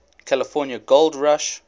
california gold rush